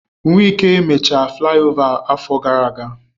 Wike mech flaiova afọ gara aga.